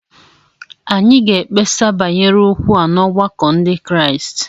Anyị ga-ekpesa banyere okwu a n'ọgbakọ Ndị Kraịst